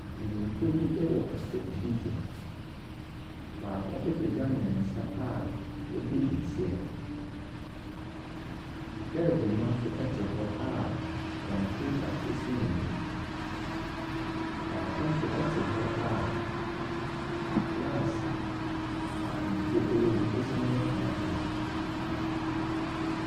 Mpanimfoɔ bi wɔ asɛnnibea. Baako apagya ne nsa a ɔredi nse. Gyɛɛgye no nso te hɔ a kɔmputa si n'anim. Baako nso te hɔ a glass a nsuo wɔ mu si ne pono so.